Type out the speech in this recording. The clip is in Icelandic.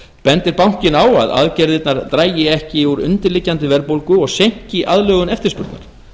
bendir bankinn á að aðgerðirnar dragi ekki úr undirliggjandi verðbólgu og seinki aðlögun eftirspurnar